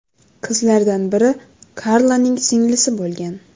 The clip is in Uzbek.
Qizlardan biri Karlaning singlisi bo‘lgan.